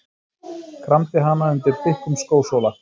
Kramdi hana undir þykkum skósóla.